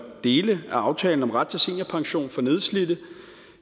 dele af aftalen om ret til seniorpension for nedslidte